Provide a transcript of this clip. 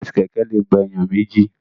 Ọ̀kadà àti Kẹ̀kẹ́ lè gba èèyàn méjì